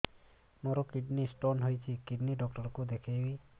ମୋର kidney stone ହେଇଛି kidney doctor କୁ ଦେଖାଇବି